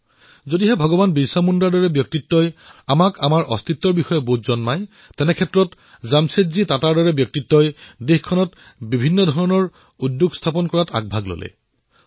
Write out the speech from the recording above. যদি ভগৱান বিৰছা মুণ্ডাৰ দৰে ব্যক্তিত্বই আমাক অস্তিত্বৰ সৈতে পৰিচিত কৰায় তেন্তে জামছেদজীৰ দৰে ব্যক্তিত্বই দেশক বৃহৎ বৃহৎ সংস্থা প্ৰদান কৰিছে